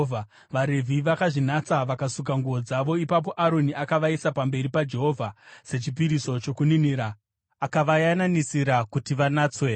VaRevhi vakazvinatsa vakasuka nguo dzavo. Ipapo Aroni akavaisa pamberi paJehovha sechipiriso chokuninira akavayananisira kuti vanatswe.